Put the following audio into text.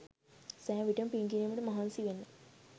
සෑම විටම පින් කිරීමට මහන්සි වෙන්න.